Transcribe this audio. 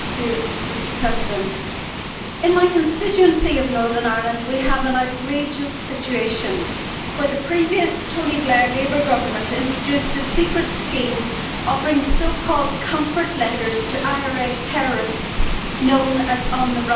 Mr President, in my constituency of Northern Ireland we have an outrageous situation where the previous Labour Government of Tony Blair introduced a secret scheme offering so called comfort letters' to IRA terrorists known as on the runs.